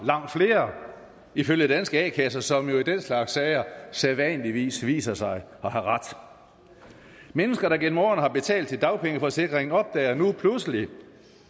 langt flere ifølge danske a kasser som jo i den slags sager sædvanligvis viser sig at have ret mennesker der gennem årene har betalt til dagpengeforsikring opdager nu pludselig